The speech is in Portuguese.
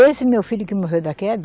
Esse meu filho que morreu da queda,